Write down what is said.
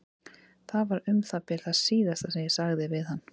Það var um það bil það síðasta sem ég sagði við hann.